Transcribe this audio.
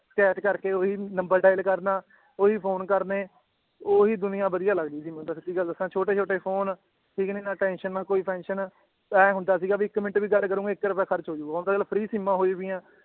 ਕੈਦ ਕਰਕੇ ਓਹੀ ਨੰਬਰ dial ਕਰਨਾ ਓਹੀ ਫੋਨ ਕਰਨੇ ਓਹੀ ਦੁਨੀਆਂ ਵਧੀਆ ਲਗਦੀ ਸੀ ਮੈਨੂੰ ਤਾਂ ਸਚੀ ਗੱਲ ਦੱਸਾਂ ਛੋਟੇ ਛੋਟੇ ਫੋਨ ਠੀਕ ਨੀ ਨਾ ਟੈਨਸ਼ਨ ਨਾ ਕੋਈ ਪੈਨਸ਼ਨ ਏਂ ਹੁੰਦਾ ਸੀਗਾ ਬੀ ਇੱਕ ਮਿੰਟ ਵੀ ਗੱਲ ਕਰੂਂਗੇ ਇੱਕ ਰੁਪਯਾ ਖਰਚ ਹੋਜੂਗਾ ਹੁਣ ਤਾਂ ਚੱਲ free ਸਿਮਾਂ ਹੋਈ ਪਇਆਂ